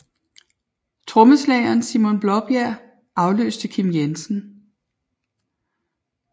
Trommeslageren Simon Blaabjerg afløste Kim Jensen